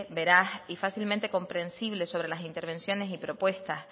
veraz y fácilmente comprensible sobre las intervenciones y propuestas